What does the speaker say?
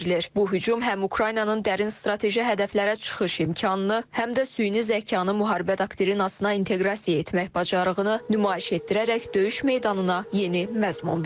Bu hücum həm Ukraynanın dərin strateji hədəflərə çıxış imkanını, həm də süni zəkanı müharibə doktrinasına inteqrasiya etmək bacarığını nümayiş etdirərək döyüş meydanına yeni məzmun verir.